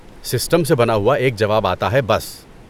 System سے بنا ہوا ایک جواب آتا ہے، بس۔